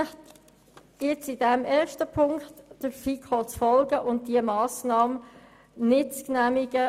Ich bitte Sie, der FiKo zu folgen und diese Massnahmen nicht zu genehmigen.